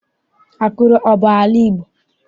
Akure abụ ala Igbo?